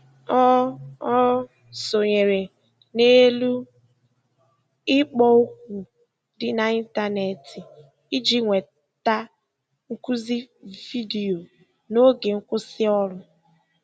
Ọ Ọ sonyeere n'elu ikpo okwu dị n'ịntanetị iji nweta nkuzi vidiyo n'oge nkwụsị ọrụ.